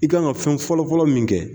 I k'an ka fɛn fɔlɔfɔlɔ min kɛ.